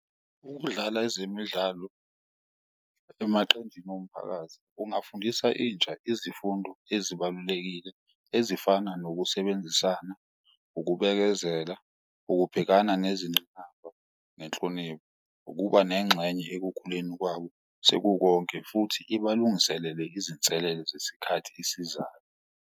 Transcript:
Ukudlala ezemidlalo emaqenjini omphakathi kungafundisa intsha izifundo ezibalulekile ezifana nokusebenzisana, ukubekezela, ukubhekana nezingqinamba nenhlonipho. Ukuba nengxenye ekukhuleni kwabo sekukonke futhi ibalungiselele izinselele zesikhathi esizayo.